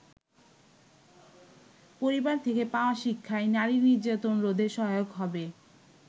পরিবার থেকে পাওয়া শিক্ষাই নারী নির্যাতন রোধে সহায়ক হবে।